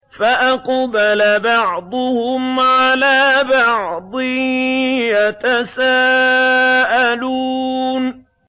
فَأَقْبَلَ بَعْضُهُمْ عَلَىٰ بَعْضٍ يَتَسَاءَلُونَ